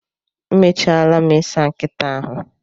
Emechaala m i saa nkịta ahụ